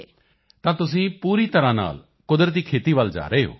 ਤਾਂ ਇਕ ਤਰ੍ਹਾਂ ਤੁਸੀਂ ਪੂਰੀ ਤਰ੍ਹਾਂ ਕੁਦਰਤੀ ਖੇਤੀ ਵੱਲ ਜਾ ਰਹੇ ਹੋ